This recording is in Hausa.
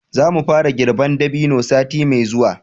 za mu fara girban dabino sati mai zuwa